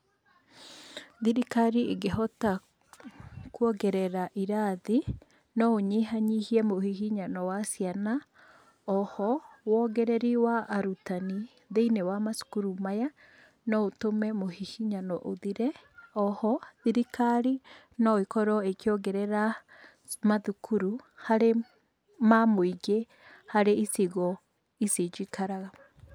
Thirikari ĩngĩhota kwongerera irathi, no ũnyihanyihie mũhihinyano wa ciana. Oho wongereri wa arutani thĩinĩ wa macukuru maya, no ũtũme mũhihinyano ũthire. Oho thirikari no ĩkorwo ĩkĩongerera mathukuru, harĩ ma mũingĩ harĩ icigo ici njikaraga.